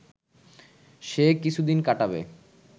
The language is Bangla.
সে কিছুদিন কাটাবে